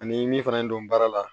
Ani min fana don baara la